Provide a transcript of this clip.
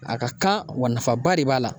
A ka kan wa nafaba de b'a la